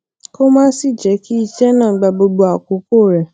kó má sì jé kí iṣé náà gba gbogbo àkókò rè